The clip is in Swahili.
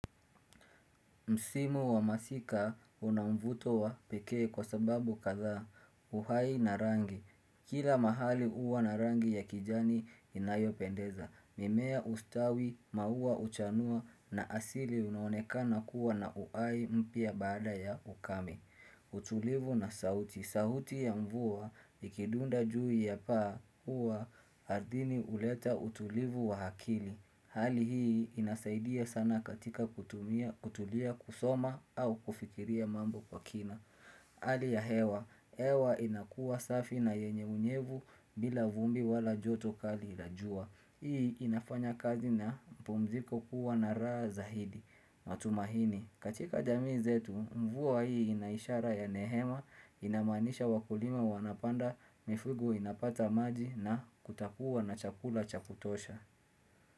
Msimu wa masika una mvuto wa pekee kwa sababu kadhaa uhai na rangi. Kila mahali huwa na rangi ya kijani inayopendeza. Mimea hustawi, maua huchanua na asili unaonekana kuwa na uhai mpya baada ya ukame. Utulivu na sauti sauti ya mvua ikidunda juu ya paa huwa ardhini huleta utulivu wa akili Hali hii inasaidia sana katika kutulia kusoma au kufikiria mambo kwa kina Hali ya hewa hewa inakuwa safi na yenye unyevu bila vumbi wala joto kali la jua. Hii inafanya kazi na mpumziko kuwa na raha zaidi. Matumaini katika jamii zetu, mvua hii ina ishara ya nehema, inamanisha wakulima wanapanda, mifugo inapata maji na kutakuwa na chakula cha kutosha.